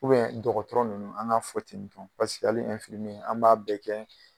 dɔgɔtɔrɔ ninnu an k'a fɔ ten dɔrɔn paseke hali infimiye an b'a bɛɛ kɛ.